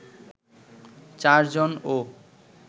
৪ জন ও